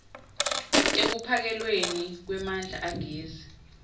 ekuphakelweni kwemandla agezi